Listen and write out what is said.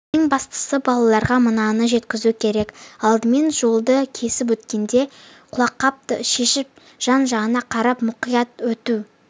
ең бастысы балаларға мынаны жеткізу керек алдымен жолды кесіп өткенде құлаққапты шешіп жан-жағына қарап мұқият өту